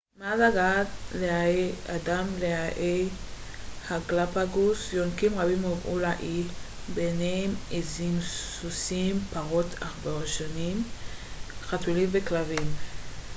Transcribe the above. מאז הגעת האדם לאיי הגלאפאגוס יונקים רבים הובאו לאי ביניהם עזים סוסים פרות עכברושים חתולים וכלבים